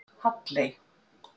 Halley